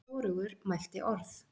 Hvorugur mælti orð.